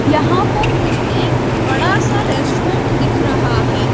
यहां पर मुझे एक बड़ा सा रेस्टोरेंट दिख रहा है।